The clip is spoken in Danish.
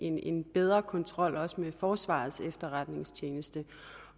en bedre kontrol også med forsvarets efterretningstjeneste